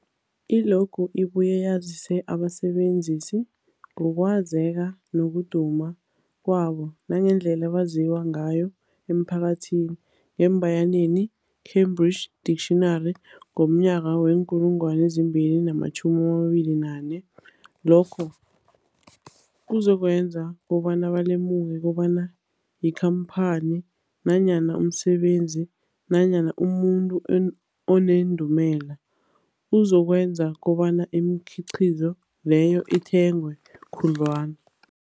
I-logo ibuye yazise abasebenzisi ngokwazeka nokuduma kwabo nangendlela abaziwa ngayo emphakathini, embayeneni Cambridge Dictionary, 2024. Lokho kuzokwenza kobana balemuke kobana yikhamphani nanyana umsebenzi nanyana umuntu onendumela, okuzokwenza kobana imikhiqhizo leyo ithengwe khudlwana.